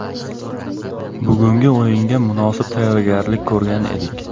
Bugungi o‘yinga munosib tayyorgarlik ko‘rgan edik.